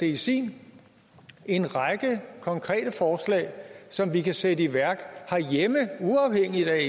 i sin en række konkrete forslag som vi kan sætte i værk herhjemme uafhængigt af